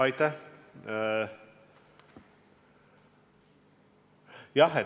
Aitäh!